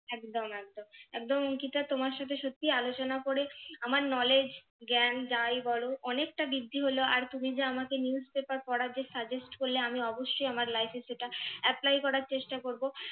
একদম একদম অঙ্কিতা তোমার সাথে সত্যি আলোচনা করে আমার knowledge জ্ঞান যাই বলো অনেকটা বৃদ্ধি হলো আর তুমি যে আমাকে newspaper পড়ার যে suggest করলে আমি অবশ্যই আমার life এ সেটা apply করার চেষ্টা করবো